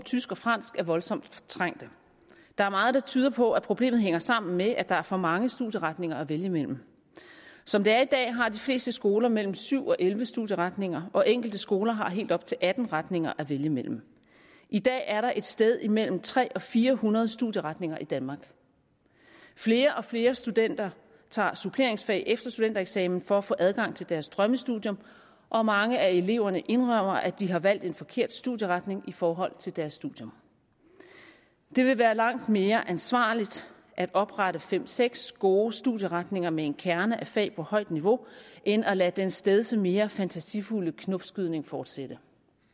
tysk og fransk voldsomt trængte der er meget der tyder på at problemet hænger sammen med at der er for mange studieretninger at vælge mellem som det er i dag har de fleste skoler mellem syv og elleve studieretninger og enkelte skoler har helt op til atten retninger at vælge mellem i dag er der et sted imellem tre hundrede og fire hundrede studieretninger i danmark flere og flere studenter tager suppleringsfag efter studentereksamen for at få adgang til deres drømmestudium og mange af eleverne indrømmer at de har valgt en forkert studieretning i forhold til deres studium det ville være langt mere ansvarligt at oprette fem seks gode studieretninger med en kerne af fag på højt niveau end at lade den stedse mere fantasifulde knopskydning fortsætte